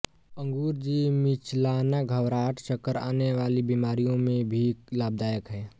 अंगूर जी मिचलाना घबराहट चक्कर आने वाली बीमारियों में भी लाभदायक है